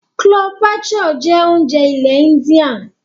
Chloe bature jẹ́ oúnjẹ ilẹ̀ india.